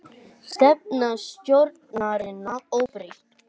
Stefna stjórnarinnar óbreytt